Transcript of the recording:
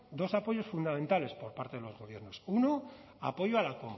dos apoyos fundamentales por parte de los gobiernos uno apoyo a la